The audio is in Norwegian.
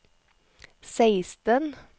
seksten